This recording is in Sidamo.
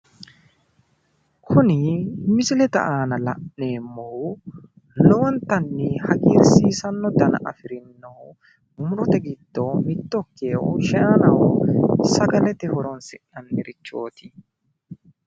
kuni misilete aana la'neemmohu lowontanni hagirsiisanno dana afireyoohu murote giddo mitto ikkeyoohu shaanaho sagalete horonsi'nannirichooti